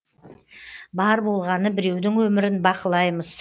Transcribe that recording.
бар болғаны біреудің өмірін бақылаймыз